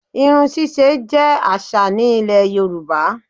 Irun ṣíṣe jẹ́ àṣà ní Ilẹ̀ Yorùbá